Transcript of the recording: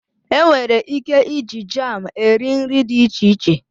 Enwere ike iji jam eri nri dị iche iche.